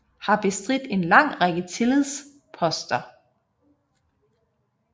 Har bestridt en lang række tillidsposter